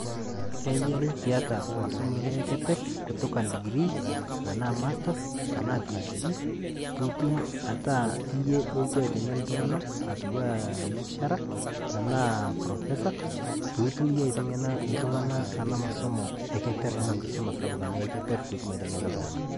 Keyiare piata masomo ino e keperr kutoka ndigrii tenaa masters tenaa PhD piitum ataa iyie olotu aiteng'en iltung'ana atiu aa lecturer tenaa profesa puutum iyie aiteng'ena iltung'ana ena masomo e keperr ama nkisoma sapuk anaa e keperr pitum aiteng'ena iltung'ana.